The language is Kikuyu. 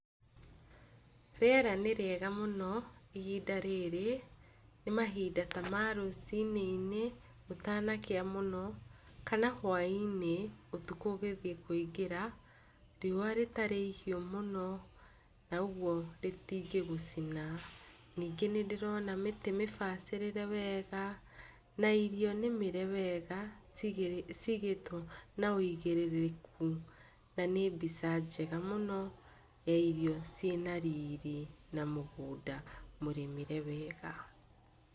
Rĩera nĩrĩega mũno ihinda rĩrĩ, nĩmahinda ta marũciinĩ-inĩ gũtanakĩa mũno kana huainĩ-inĩ ũtukũ ũtanathiĩ kũingĩra, riũa rĩgĩthiĩ kũingĩra naũguo rĩtingĩgũcina. Nyingĩ nĩndĩrona mĩtĩ mĩbacĩrĩre wega na irio nĩmĩre wega cigĩtwo na wĩigĩrĩrĩku na nĩ mbica njega mũno ya irio ciĩna riri na mũgũnda mũrĩmĩre wega.